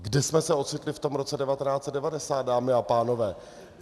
Kde jsme se ocitli v tom roce 1990, dámy a pánové?